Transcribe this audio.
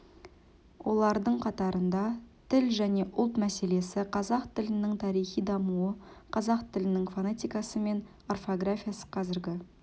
олардың қатарында тіл және ұлт мәселесі қазақ тілінің тарихи дамуы қазақ тілінің фонетикасы мен орфографиясы қазіргі